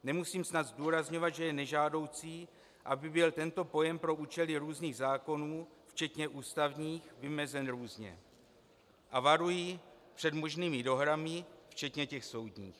Nemusím snad zdůrazňovat, že je nežádoucí, aby byl tento pojem pro účely různých zákonů včetně ústavních vymezen různě, a varuji před možnými dohrami, včetně těch soudních.